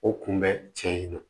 O kun bɛ tiɲɛ na